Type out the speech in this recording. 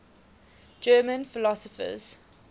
german philosophers